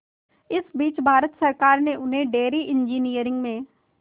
इस बीच भारत सरकार ने उन्हें डेयरी इंजीनियरिंग में